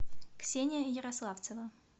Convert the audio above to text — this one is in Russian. ксения ярославцева